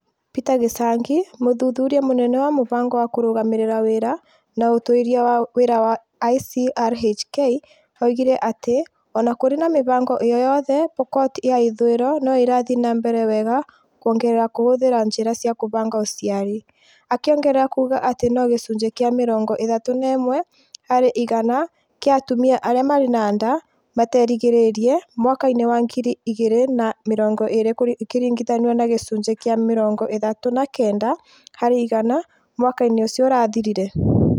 Peter Gĩchangi, mũthuthuria mũnene wa mũbango wa kũrũgamĩrĩra wĩra na ũtuĩria wa wĩra wa ICRHK, oigire atĩ o na kũrĩ na mĩhĩnga ĩyo yothe, Pokot ya ithũĩro no ĩrathiĩ na mbere wega kũongerera kũhũthĩra njĩra cia kũbanga ũciari, akĩongerera kuuga atĩ no gĩcunjĩ kĩa mĩrongo ĩthatu na ĩmwe harĩ igana kĩa atumia arĩa marĩ na nda materĩgĩrĩrie mwaka wa ngiri igĩrĩ na mĩrongo ĩrĩ ikĩringithanio na gĩcunjĩ kĩa mĩrongo ĩthatu na kenda harĩ igana mwaka-inĩ ũcio ũrathirire.